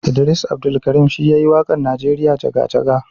Idris Abdulkarim shi yayi wakan nijeriya jaga-jaga.